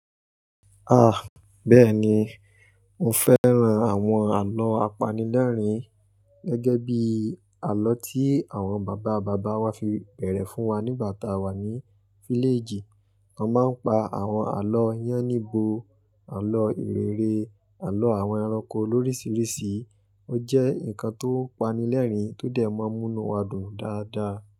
Ah! Bẹ́ẹ̀ni, mo fẹ́ran àwọn àlọ́ apanilẹ́rìn gẹ́gẹ́ bí àlọ́ tí àwọn bàbá bàbá wa fi bẹ̀rẹ̀ fún wa nígbà tá a wà ní fílèjì. Wọ́n máa ń pa àwọn àlọ́ yáníbo, àlọ́ ìrere, àlọ́ àwọn ẹranko lorisirisi, ó jẹ́ nǹkan tó pani lẹ́rìn tó dẹ̀ máa ń múnú wa dùn dáadáa.